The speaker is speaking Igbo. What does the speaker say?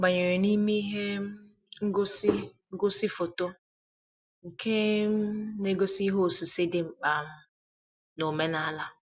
Ọ banyere n'ime ihe um ngosi ngosi foto nke um na-egosi ihe osise dị mkpa um na-omenala.